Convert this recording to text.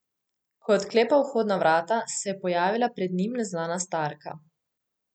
Ko je odklepal vhodna vrata, se je pojavila pred njim neznana starka.